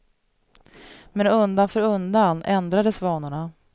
Men undan för undan ändrades vanorna.